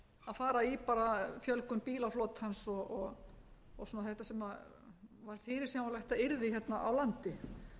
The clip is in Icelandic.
fara í bara fjölgun bílaflotans og svona þetta sem var fyrirsjáanlegt að yrði hérna á landi